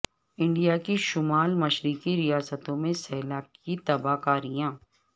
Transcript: India کی شمال مشرقی ریاستوں میں سیلاب کی تباہ کاریاں